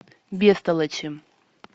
бестолочи